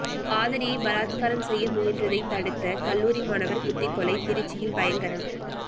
காதலியை பலாத்காரம் செய்ய முயன்றதை தடுதத கல்லூரி மாணவர் குத்திக் கொலை திருச்சியில் பயங்கரம்